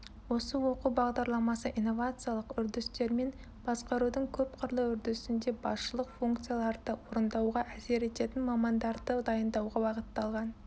осы оқу бағдарламасы инновациялық үрдістермен басқарудың көпқырлы үрдісінде басшылықты функцияларды орындауға әсер ететін мамандарды дайындауға бағытталған